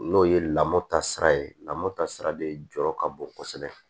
N'o ye lamɔta sira ye lamɔta sira de jɔyɔrɔ ka bon kosɛbɛ